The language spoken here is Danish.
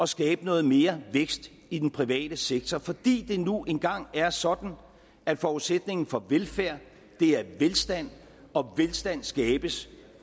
skabe noget mere vækst i den private sektor fordi det nu engang er sådan at forudsætningen for velfærd er velstand og velstand skabes